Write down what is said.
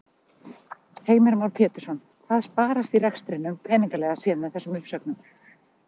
Heimir Már Pétursson: Hvað sparast í rekstrinum peningalega séð með þessum uppsögnum?